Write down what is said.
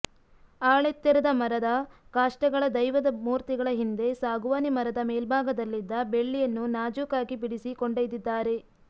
ಆಳೆತ್ತೆರದ ಮರದ ಕಾಷ್ಟಗಳ ದೈವದ ಮೂರ್ತಿಗಳ ಹಿಂದೆ ಸಾಗುವಾನಿ ಮರದ ಮೇಲ್ಭಾಗದಲ್ಲಿದ್ದ ಬೆಳ್ಳಿಯನ್ನು ನಾಜೂಕಾಗಿ ಬಿಡಿಸಿ ಕೊಂಡೊಯ್ದಿದ್ದಾರೆ